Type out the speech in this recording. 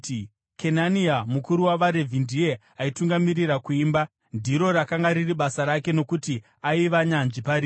Kenania mukuru wavaRevhi ndiye aitungamirira kuimba; ndiro rakanga riri basa rake nokuti aiva nyanzvi pariri.